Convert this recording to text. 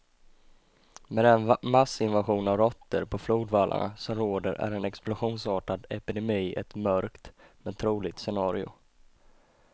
Med den massinvasion av råttor på flodvallarna som råder är en explosionsartad epidemi ett mörkt, men troligt scenario.